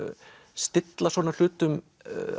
stilla svona hlutum